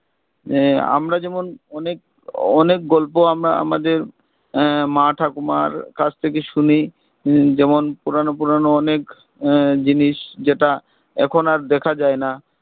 আহ আমরা যেমন অনেক অনেক গল্প আমরা আমাদের আহ মা ঠাকুমার কাছ থেকে শুনি উম যেমন পুরানো পুরানো অনেক আহ জিনিস যেটা এখন আর দেখা যাই না